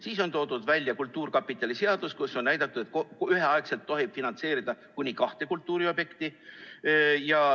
Siis on toodud välja kultuurkapitali seadust, kus on näidatud, et üheaegselt tohib finantseerida kuni kahte kultuuriobjekti.